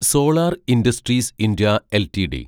solar industries India LTD